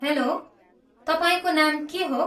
Hello, तपाईँको नाम के हो?